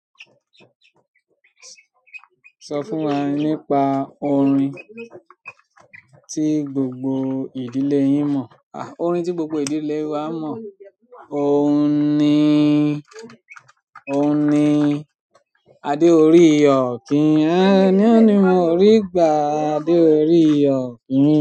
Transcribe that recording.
Sọ fún wa nípa orin tí gbogbo ìdílé yín mọ̀. Orin tí gbogbo ìdílé wa mọ̀, òun ni, òun ni adé orí òkín. Àànu ni mo rí gbà, adé orí òkín.